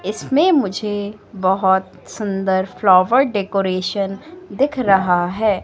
इसमें मुझे बहोत सुंदर फ्लावर डेकोरेशन दिख रहा है।